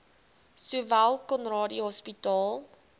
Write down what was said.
sowel conradie hospitaal